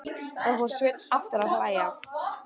Þá fór Sveinn aftur að hlæja.